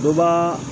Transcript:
Dɔ baa